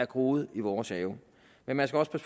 groet i vores have men man skal også